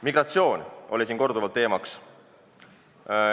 Migratsioon oli siin korduvalt teemaks.